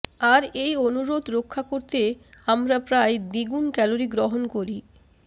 আর এই অনুরোধ রক্ষা করতে আমরা প্রায় দ্বিগুণ ক্যালোরি গ্রহণ করি